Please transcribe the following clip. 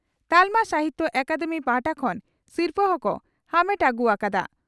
ᱛᱟᱞᱢᱟ ᱥᱟᱦᱤᱛᱭᱚ ᱟᱠᱟᱫᱮᱢᱤ ᱯᱟᱦᱴᱟ ᱠᱷᱚᱱ ᱥᱤᱨᱯᱷᱟᱹ ᱦᱚᱸᱠᱚ ᱟᱢᱮᱴ ᱦᱩᱭ ᱟᱠᱟᱫᱼᱟ ᱾